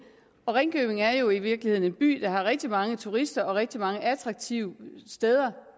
og ringkøbing er jo i virkeligheden en by der har rigtig mange turister den har rigtig mange attraktive steder